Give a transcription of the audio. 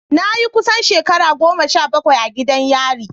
Na yi kusan shekara goma sha bakwai a gidan yari.